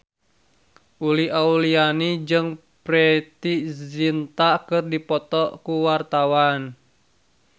Uli Auliani jeung Preity Zinta keur dipoto ku wartawan